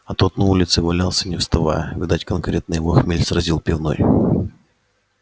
а тот на улице валялся не вставая видать конкретно его хмель сразил пивной